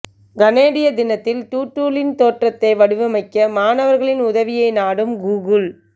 கனேடிய தினத்தில் டூடூலின் தோற்றத்தை வடிவமைக்க மாணவர்களின் உதவியை நாடும் கூகுள்